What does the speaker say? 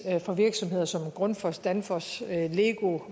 for virksomheder som grundfos danfoss lego